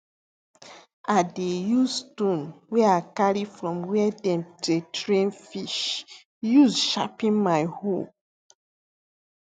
i dey use stone wey i carry from where dem dey train fish use sharpen my hoe